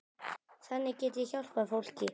Þannig get ég hjálpað fólki.